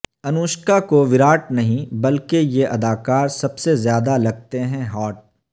انوشکا کو وراٹ نہیں بلکہ یہ ادکار سب سے زیادہ لگتے ہیں ہاٹ